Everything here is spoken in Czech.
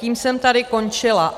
Tím jsem tady končila.